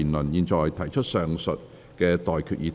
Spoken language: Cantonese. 我現在向各位提出上述待決議題。